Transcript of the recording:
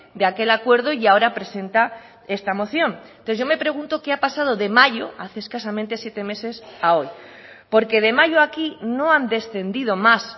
de aquel acuerdo y ahora presenta esta moción entonces yo me pregunto qué ha pasado de mayo hace escasamente siete meses a hoy porque de mayo aquí no han descendido más